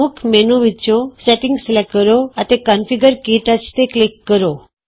ਮੁੱਖ ਮੈਨਯੂ ਵਿਚੋਂ setting select ਕਰੋ ਅਤੇ ਕੌਨਫਿਗਰ ਕੇ ਟੱਚਕਨਫਿਗਰ - ਕਟਚ ਤੇ ਕਲਿਕ ਕਰੋ